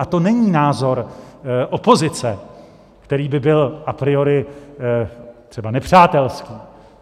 A to není názor opozice, který by byl a priori třeba nepřátelský.